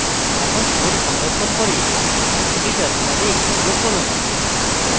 এখন code সংরক্ষণ করে এটি terminal execute করুন